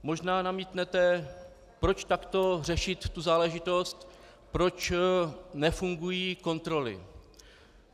Možná namítnete, proč takto řešit tu záležitost, proč nefungují kontroly.